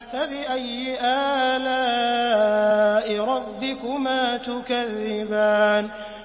فَبِأَيِّ آلَاءِ رَبِّكُمَا تُكَذِّبَانِ